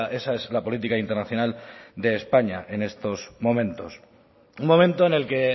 esa es la política internacional de españa en estos momentos un momento en el que